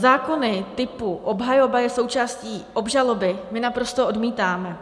Zákony typu "obhajoba je součástí obžaloby" my naprosto odmítáme.